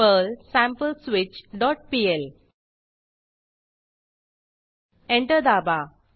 Perl sampleswitchपीएल enter दाबा